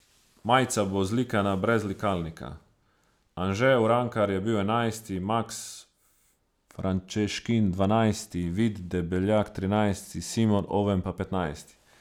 Anže Urankar je bil enajsti, Maks Frančeškin dvanajsti, Vid Debeljak trinajsti, Simon Oven pa petnajsti.